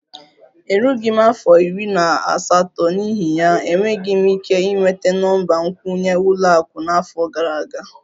Erughị m afọ iri na asatọ, n'ihi ya, enweghị m ike ịnweta nọmba nkwenye ụlọ akụ n'afọ gara aga